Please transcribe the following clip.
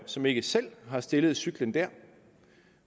som ikke selv har stillet cyklen der